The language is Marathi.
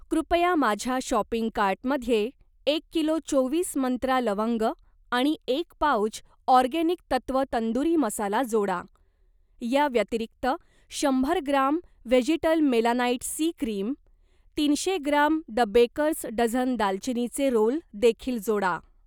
कृपया माझ्या शॉपिंग कार्टमध्ये एक किलो चोवीस मंत्रा लवंग आणि एक पाउच ऑर्गेनिक तत्व तंदूरी मसाला जोडा. या व्यतिरिक्त, शंभर gram Vegetal Melanite C cream, तीनशे ग्राम द बेकर्स डझन दालचिनीचे रोल देखील जोडा.